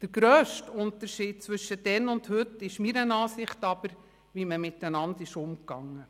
Der grösste Unterschied zwischen damals und heute ist aber, wie wir miteinander umgehen.